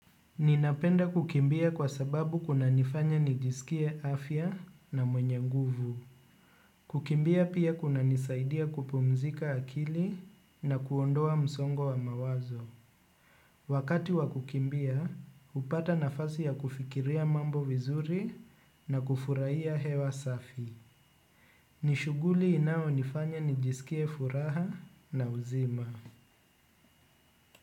Ninapenda kukimbia kwa sababu kunanifanya nijisikie afya na mwenye nguvu. Kukimbia pia kunanisaidia kupumzika akili na kuondoa msongo wa mawazo. Wakati wa kukimbia, hupata nafasi ya kufikiria mambo vizuri na kufurahia hewa safi. Ni shughuli inayonifanya nijisikie furaha na uzima.